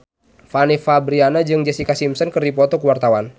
Fanny Fabriana jeung Jessica Simpson keur dipoto ku wartawan